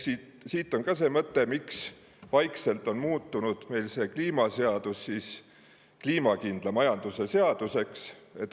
Siit tuleneb ka see mõte, miks see kliimaseadus on meil vaikselt muutunud kliimakindla majanduse seaduseks.